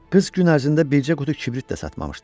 Qız gün ərzində bircə qutu kibrit də satmamışdı.